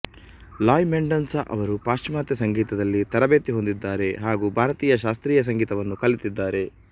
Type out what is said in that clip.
ಲಾಯ್ ಮೆಂಡೋನ್ಸಾ ಅವರು ಪಾಶ್ಚಿಮಾತ್ಯ ಸಂಗೀತದಲ್ಲಿ ತರಬೇತಿ ಹೊಂದಿದ್ದಾರೆ ಹಾಗೂ ಭಾರತೀಯ ಶಾಸ್ತ್ರೀಯ ಸಂಗೀತವನ್ನು ಕಲಿತಿದ್ದಾರೆ